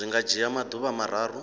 zwi nga dzhia maḓuvha mararu